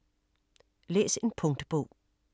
Læs en punktbog